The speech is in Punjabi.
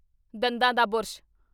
ਦੰਦਾਂ ਦਾ ਬੁਰਸ਼